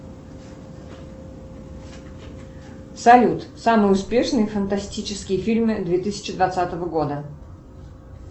салют самые успешные фантастические фильмы две тысячи двадцатого года